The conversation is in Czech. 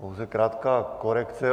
Pouze krátká korekce.